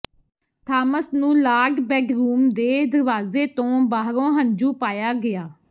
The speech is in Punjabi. ਥਾਮਸ ਨੂੰ ਲਾਡ ਬੈਡਰੂਮ ਦੇ ਦਰਵਾਜ਼ੇ ਤੋਂ ਬਾਹਰੋਂ ਹੰਝੂ ਪਾਇਆ ਗਿਆ